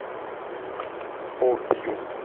обью